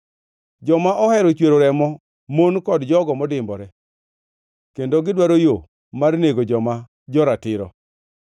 Joma ohero chwero remo mon kod jogo modimbore, kendo gidwaro yo mar nego joma jo-ratiro.